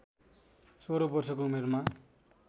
सोह्र वर्षको उमेरमा